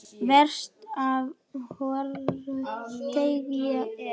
Verst ef hvoru tveggja er.